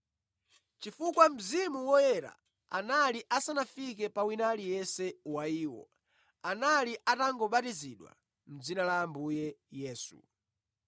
chifukwa Mzimu Woyera anali asanafike pa wina aliyense wa iwo; anali atangobatizidwa mʼdzina la Ambuye Yesu.